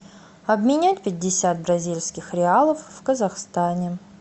обменять пятьдесят бразильских реалов в казахстане